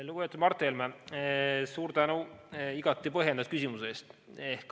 Lugupeetud Mart Helme, suur tänu igati põhjendatud küsimuse eest!